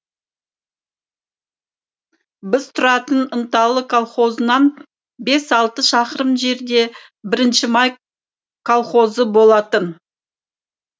біз тұратын ынталы колхозынан бес алты шақырым жерде бірінші май колхозы болатын